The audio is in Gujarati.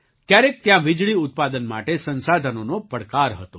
ક્યારેક ત્યાં વીજળી ઉત્પાદન માટે સંસાધનોનો પડકાર હતો